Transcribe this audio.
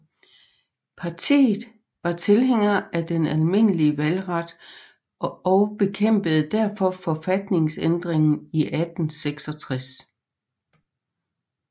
Partiet var tilhænger af den almindelige valgret og bekæmpede derfor forfatningsændringen i 1866